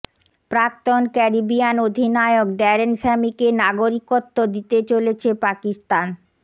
প্রাক্তন ক্যারিবিয়ান অধিনায়ক ড্যারেন স্যামিকে নাগরিকত্ব দিতে চলেছে পাকিস্তান